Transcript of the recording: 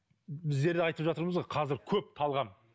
біздер айтып жатырмыз ғой қазір көп талғам